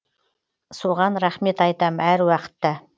соған рахмет айтам әруақытта